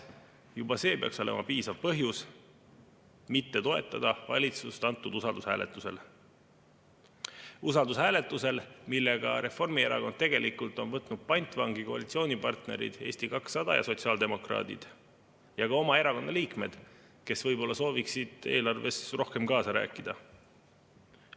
Juba see peaks olema piisav põhjus mitte toetada valitsust sellel usaldushääletusel – usaldushääletusel, millega Reformierakond on võtnud pantvangi koalitsioonipartnerid Eesti 200 ja sotsiaaldemokraadid ja ka oma erakonna liikmed, kes võib-olla sooviksid eelarve puhul rohkem kaasa rääkida.